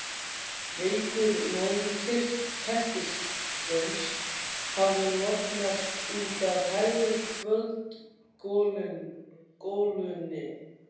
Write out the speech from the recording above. Veikur logi kertisins hafði lognast út af í hægri kvöldgolunni.